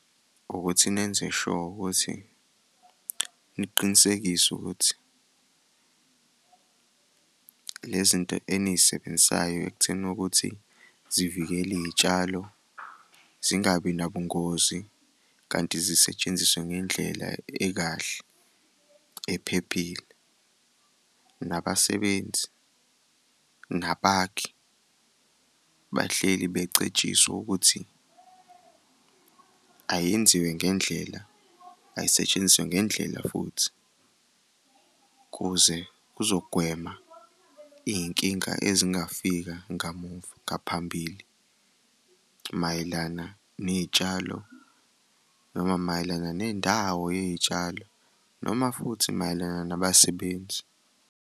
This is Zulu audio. Ukuthi nenze sure ukuthi niqinisekise ukuthi le zinto eniy'sebenzisayo ekutheni ukuthi nivikele iy'tshalo zingabi nabungozi kanti zisetshenziswe ngendlela ekahle ephephile. Nabasebenzi nabakhi, bahleli becetshiswa ukuthi ayenziwe ngendlela, ayisetshenziswe ngendlela futhi ukuze kuzogwema iy'nkinga ezingafika ngamuva ngaphambili mayelana ney'tshalo noma mayelana nendawo yey'tshalo noma futhi mayelana nabasebenzi.